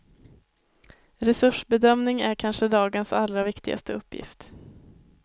Resursbedömning är kanske dagens allra viktigaste uppgift.